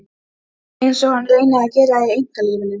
Einsog hann reyni að gera í einkalífinu.